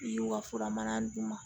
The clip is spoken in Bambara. I y'u ka fura mana d'u ma